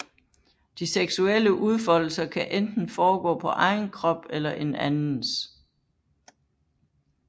De seksuelle udfoldelser kan enten foregå på egen krop eller en andens